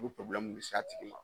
O bɛ de s'a tigi ma.